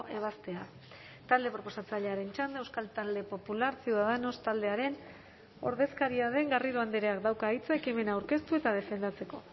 ebazpena talde proposatzailearen txanda euskal talde popular ciudadanos taldearen ordezkaria den garrido andreak dauka hitza ekimena aurkeztu eta defendatzeko